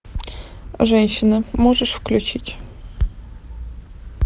женщина можешь включить